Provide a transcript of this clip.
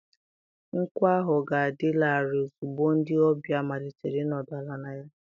Nkwụ ahụ ga-adị larịị ozugbo ndị ọbịa malitere ịnọdụ ala na ya.